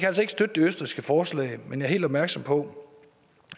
altså ikke støtte det østrigske forslag men jeg er helt opmærksom på